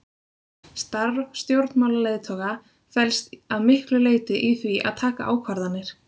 Starf stjórnmálaleiðtoga felst að miklu leyti í því að taka ákvarðanir.